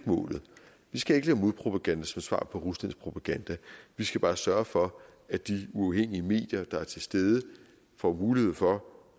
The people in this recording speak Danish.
målet vi skal ikke lave modpropaganda som svar på ruslands propaganda vi skal bare sørge for at de uafhængige medier der er til stede får mulighed for